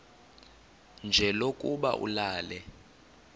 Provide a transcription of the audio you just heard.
nje lokuba ulale